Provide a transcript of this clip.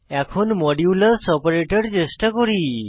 এখন modulus operator চেষ্টা করি